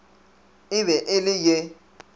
e be e le ye